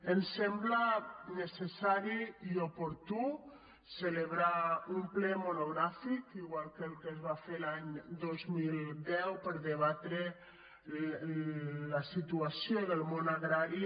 ens sembla necessari i oportú celebrar un ple monogràfic igual que el que es va fer l’any dos mil deu per debatre la situa·ció del món agrari